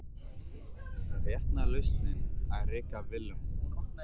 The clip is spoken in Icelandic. Er rétta lausnin að reka Willum?